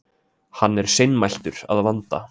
Hann er seinmæltur að vanda.